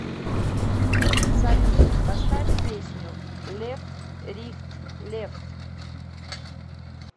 салют поставь песню лефт рихт лефт